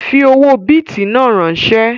Fi owó bìtì náà ránsẹ́!